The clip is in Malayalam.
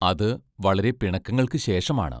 അതു വളരെ പിണക്കങ്ങൾക്കു ശേഷമാണ്.